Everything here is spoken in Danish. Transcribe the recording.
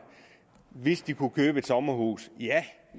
hvis de kunne købe et sommerhus ja